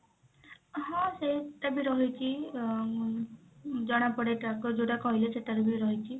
ହଁ ସେଇଟା ବି ରହିଛି ଅ ଜଣା ପଡେ tracker ଯଉଟା କହିଲେ ସେଇଟା ର ବି ରହିଛି